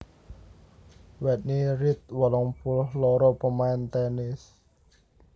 Whitney Reed wolung puluh loro pamain tènis